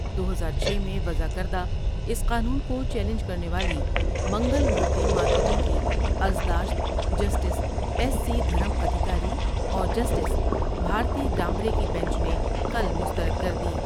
دو ہزار چھ میں وضع کردہ اس قانون کو چیلنج کرنے والی منگل مورتی مارکیٹنگ کی عرضداشت جسٹس ایسی دھرم ادھیکاری اور جسٹس بھارتی ڈامبرے کی بنچ نے کل مستر دکر دی ۔